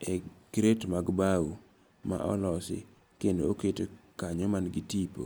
e kret mag bau ma olosi kendo oket nkanyo ma n gi tipo